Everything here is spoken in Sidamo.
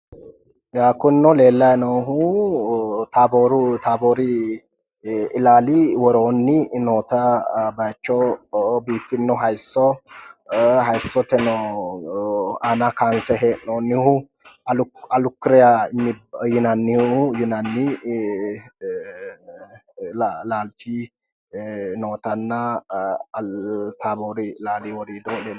Kunino leelayi noohu taabor ilaali worooni noota bayicho biiffino hayisso hayissoteno aana kayinse he'noonihu alikurya yinani laalichi nootana tabor ilaali woriido leelishano